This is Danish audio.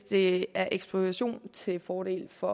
det er ekspropriation til fordel for